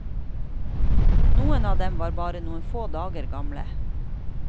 Noen av dem var bare noen få dager gamle.